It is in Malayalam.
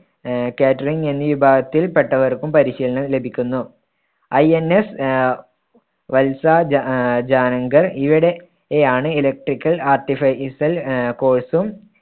ആഹ് catering എന്നീ വിഭാഗത്തിൽപ്പെട്ടവർക്കും പരിശീലനം ലഭിക്കുന്നു. INS ആഹ് വത്സ ജാ ആഹ് ജാനങ്കൾ ഈയിടെ~യാണ് electrical artificer ആഹ് course ഉം